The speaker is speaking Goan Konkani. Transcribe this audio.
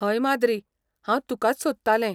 हय माद्री, हांव तुकाच सोदतालें.